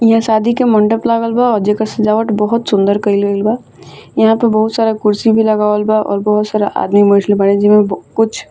इहां शादी के मंडप लागल बा जेकर सजावट बहुत सुन्दर कईल गईल बा यहां पे बहुत सारा कुर्सी भी लगावल बा और बहोत सारा आदमी बाड़े जेमे बो कुछ --